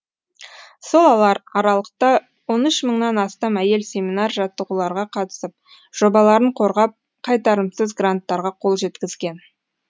сол аралықта он үш мыңнан астам әйел семинар жаттығуларға қатысып жобаларын қорғап қайтарымсыз гранттарға қол жеткізген